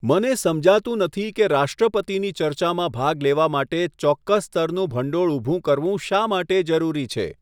મને સમજાતું નથી કે રાષ્ટ્રપતિની ચર્ચામાં ભાગ લેવા માટે ચોક્કસ સ્તરનું ભંડોળ ઊભું કરવું શા માટે જરૂરી છે.